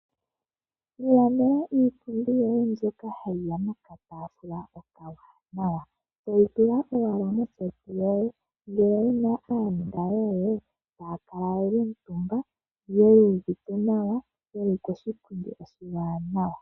Ilandela iipundi yoye mbyoka hayiya nokataafula okawanawa, toyi tula owala moseti yoye, ngele owuna aanona yoye, taya kala ye li omutumba yu uvite nawa, ye li koshipundi oshiwaanawa.